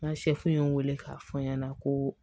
N ka ye n wele k'a fɔ n ɲɛna ko